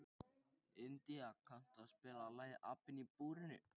India, kanntu að spila lagið „Apinn í búrinu“?